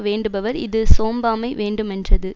வேண்டுபவர் இது சோம்பாமை வேண்டுமென்றது